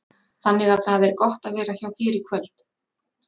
Þannig að það er gott að vera hjá þér í kvöld?